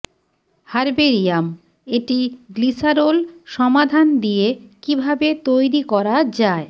herbarium এটি glycerol সমাধান দিয়ে কিভাবে তৈরি করা যায়